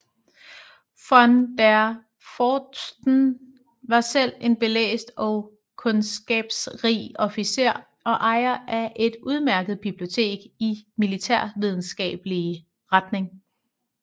Von der Pfordten var selv en belæst og kundskabsrig officer og ejer af et udmærket bibliotek i militærvidenskabelig retning